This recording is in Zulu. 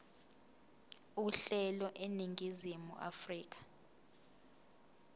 uhlelo eningizimu afrika